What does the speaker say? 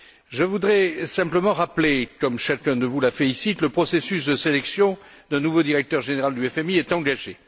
Je voudrais simplement rappeler, comme chacun de vous l'a fait ici, que le processus de sélection d'un nouveau directeur général du FMI est engagé.